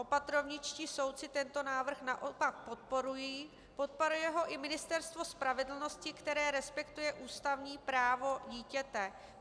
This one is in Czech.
Opatrovničtí soudci tento návrh naopak podporují, podporuje ho i Ministerstvo spravedlnosti, které respektuje ústavní právo dítěte.